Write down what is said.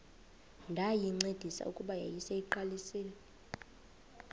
ndayincedisa kuba yayiseyiqalisile